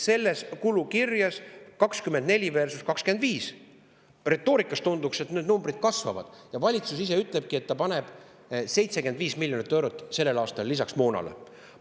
Retoorikas nagu tunduks, et selle kulukirje numbrid kasvavad, ja valitsus ise ütlebki, et ta paneb 75 miljonit eurot sellel aastal moona juurde.